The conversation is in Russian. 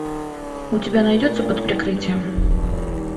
у тебя найдется под прикрытием